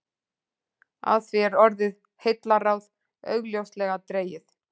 Af því er orðið heillaráð augljóslega dregið.